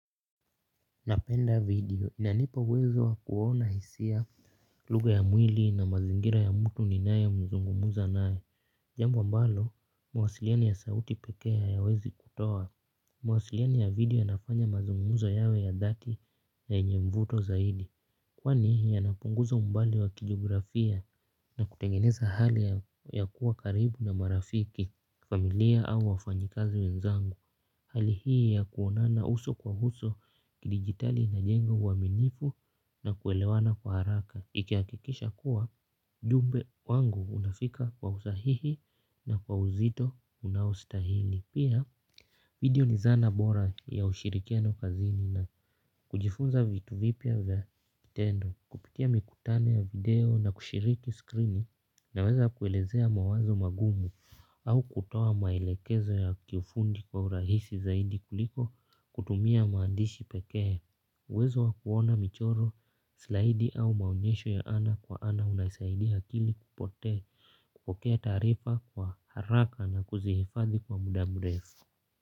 Napenda video inanipa uwezo wa kuona hisia lugha ya mwili na mazingira ya mtu ninaye zungumza naye. Jambo ambalo mawasiliano ya sauti pekee hayawezi kutoa. Mawasiliani ya video yanafanya mazungumzo yawe ya dhati na yenye mvuto zaidi. Kwa nihi ya napunguza mbali wa kijografia na kutengeneza hali ya kuwa karibu na marafiki, familia au wafanyikazi wenzangu. Hali hii ya kuonana uso kwa uso kidijitali inajenga uaminifu na kuelewana kwa haraka ikihakikisha kuwa jumbe wangu unafika kwa usahihi na kwa uzito unaustahili. Pia video ni zana bora ya ushirikiano kazini na kujifunza vitu vipya vya kitendo. Kupitia mikutano ya video na kushiriki skrini naweza kuelezea mawazo magumu au kutoa maelekezo ya kiufundi kwa urahisi zaidi kuliko kutumia maandishi pekee uwezo wa kuona michoro slaidi au maonyesho ya ana kwa ana unasaidi akili kupotee kupokea taarifa kwa haraka na kuzihifadhi kwa muda mrefu.